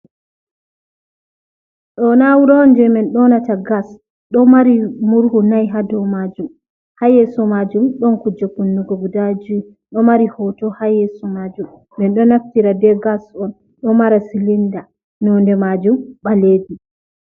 Ɗo na'ura'on je men ɗonata Gas. Ɗoo mari murhu nayi ha dou majum, ha yeso mjumi nɗon kuuje Kunnugo guda jow, ɗo mari hoto ha yeso majum. Menɗo naftira be gas'on ɗo mara Silinda. Node Majum ɓalejum.